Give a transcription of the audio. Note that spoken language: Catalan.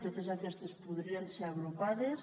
totes aquestes podrien ser agrupades